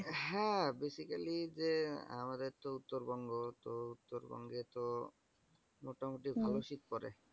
হ্যাঁ basically যে আমাদের তো উত্তরবঙ্গ। তো উত্তরবঙ্গে তো মোটামুটি ভালো শীত পরে।